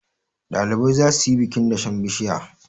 ɗalibai za su yi bikin dashen bishiya